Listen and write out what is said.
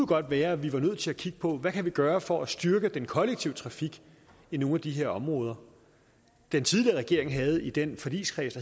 godt være at vi var nødt til at kigge på hvad vi kan gøre for at styrke den kollektive trafik i nogle af de områder den tidligere regering havde i den forligskreds